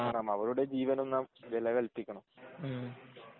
കാരണം അവരുടെ ജീവനും നാം വിലകല്പിക്കണം